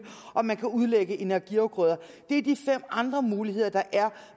og man kan udlægge energiafgrøder det er de fem andre muligheder der er